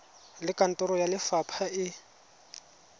le kantoro ya lefapha e